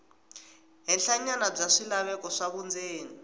henhlanyana bya swilaveko swa vundzeni